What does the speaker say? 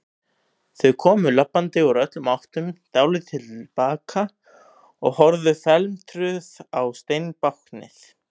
Þau komu labbandi úr öllum áttum, dáldið til baka og horfðu felmtruð á steinbáknið.